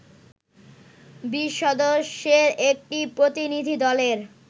২০ সদস্যের একটি প্রতিনিধি দলের